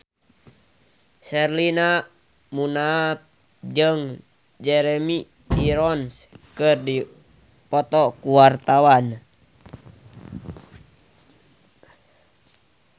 Sherina Munaf jeung Jeremy Irons keur dipoto ku wartawan